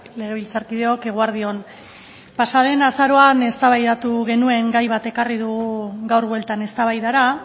legebiltzarkideok eguerdi on pasa den azaroan eztabaidatu genuen gai bat ekarri dugu gaur bueltan eztabaidara